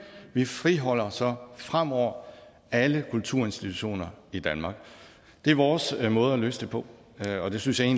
vi friholder så fremover alle kulturinstitutioner i danmark det er vores måde at løse det på og det synes jeg